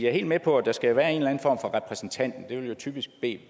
er helt med på at der skal være en eller anden form for repræsentant man vil jo typisk bede